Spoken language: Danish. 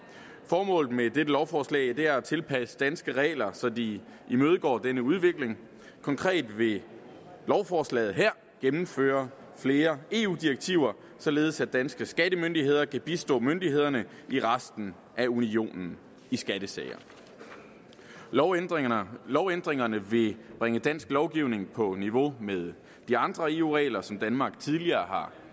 formålet med dette lovforslag er at tilpasse danske regler så de imødekommer denne udvikling konkret vil lovforslaget her gennemføre flere eu direktiver således at danske skattemyndigheder kan bistå myndighederne i resten af unionen i skattesager lovændringerne lovændringerne vil bringe dansk lovgivning på niveau med de andre eu regler som danmark tidligere har